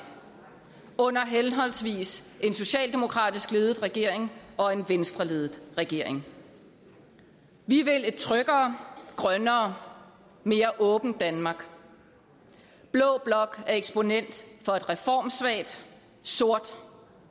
under henholdsvis en socialdemokratisk ledet regering og en venstreledet regering vi vil et tryggere grønnere og mere åbent danmark blå blok er eksponent for et reformsvagt sort og